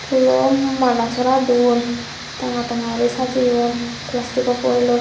phulo mala sora don tanga tanga uri sajeyon plastico foilot.